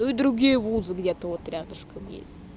ну другие вузы где-то вот рядышком есть